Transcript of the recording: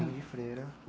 freira